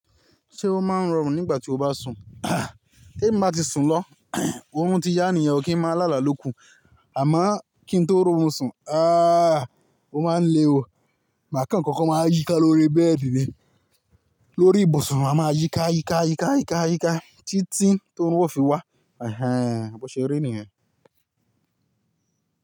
Ṣé o máa ń rọrùn nígbà tí o bá sùn? Te mi bá ti sùn lọ, òrun ti ya nìyen kí ń máa láàlá ló kú. Àmo kí n tó ro orun sùn, ah o máa ń lé o, màà kan kan máa yíká lórí bẹ́ẹ̀dì ni, lórí ibùsùn máa yíká yíká yíká yíká yíká títí to òórùn ó fi wá. Ẹhẹ̀n, bọ̀ ṣe ri nìyẹn.